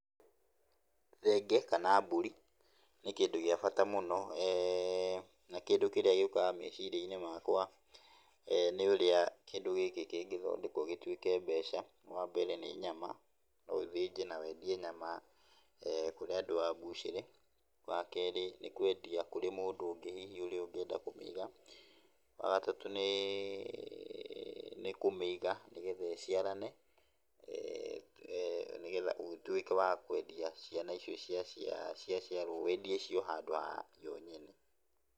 Thenge kana mbũri, nĩ kĩndũ gĩa bata mũno, eeh na kĩndũ kĩrĩa gĩũkaga meciria-inĩ makwa e nĩ ũrĩa kĩndũ gĩkĩ kĩngĩthondekwo gĩtũike mbeca , wambere nĩ nyama , no ũthĩnje na wendie nyama, e kũrĩa andũ a mbucĩrĩ, wa kerĩ ,nĩ kwendia kũrĩ mũndũ ũngĩ ũrĩa ũngĩenda kũmĩiga, wa gatatu, nĩ kũmĩiga nĩgetha ĩciarane ee nĩgetha ũgĩtwĩke wa kwendia ciana icio cia cia ciaciarwo wendie cio handũ ha ĩyo nyene.